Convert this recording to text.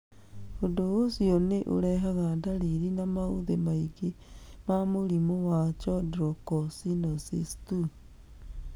Ũndũ ũcio nĩ ũrehaga ndariri na maũthĩ maingĩ ma mũrimũ wa chondrocalcinosis 2.